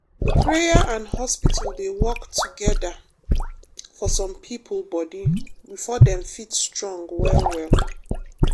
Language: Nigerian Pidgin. prayer and hospital dey work together for some people body before dem fit strong well well.